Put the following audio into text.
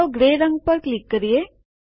ચાલો ગ્રે રંગ પર ક્લિક કરીએ